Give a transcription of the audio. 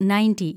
ninety